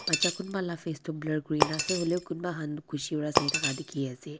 baccha kunba laga face toh blur kuri kena ase hoilebi kunba khan khushi para sai thaka dikhi ase.